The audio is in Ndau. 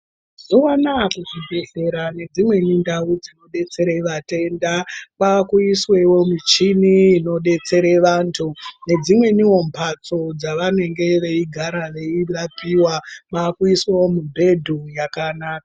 Mazuwa anawa kuzvibhedhlera nedzimweni ndau dzinodetsera vatenda kwakuiswawo michini inodetsera vantu nedzimweniwo mbatso dzavanenge veigara veirapiwa kuiswawo mubhedhu yakanaka.